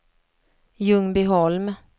Ljungbyholm